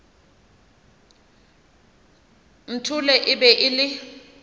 nthole e be e le